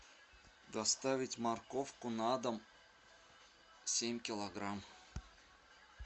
доставить морковку на дом семь килограмм